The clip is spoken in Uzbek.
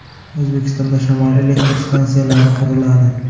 O‘zbekistonda shamol elektr stansiyalari quriladi.